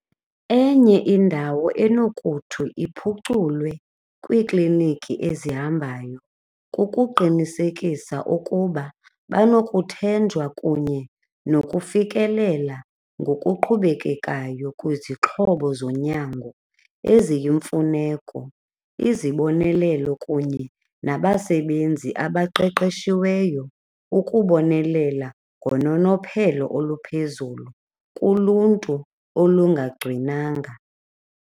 Enye indawo enokuthi iphuculwe kwiikliiniki ezihambayo kukuqinisekisa ukuba banokuthenjwa kunye nokufikelela ngokuqhubelekayo kwizixhobo zonyango eziyimfuneko, izibonelelo kunye nabasebenzi abaqeqeshiweyo ukubonelela ngononophelo oluphezulu kuluntu olungagcwinanga.